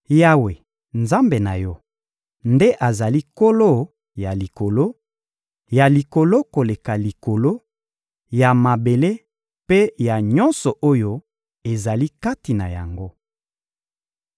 Yawe, Nzambe na yo, nde azali Nkolo ya likolo, ya likolo koleka likolo, ya mabele mpe ya nyonso oyo ezali kati na yango.